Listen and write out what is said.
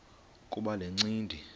kuba le ncindi